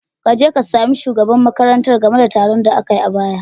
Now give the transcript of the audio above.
Kaje ka sami shugaban makarantar game da taron da akai a baya.